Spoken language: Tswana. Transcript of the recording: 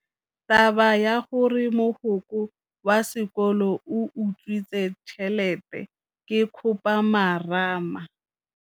Taba ya gore mogokgo wa sekolo o utswitse tšhelete ke khupamarama.